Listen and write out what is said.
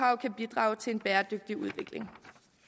kan bidrage til en bæredygtig udvikling